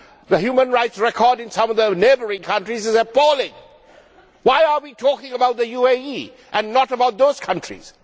The human rights record in some of those neighbouring countries is appalling. Why are we talking about the UAE and not about those countries?